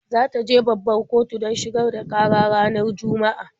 Za ta je babbar kotu don shigar da ƙara ranar Juma'a.